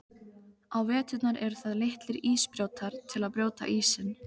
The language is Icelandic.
Á veturna eru það litlir ísbrjótar, til að brjóta ísinn.